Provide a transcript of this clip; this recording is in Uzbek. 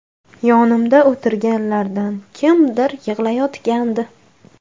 Yonimda o‘tirganlardan kimdir yig‘layotgandi.